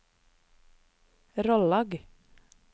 Rollag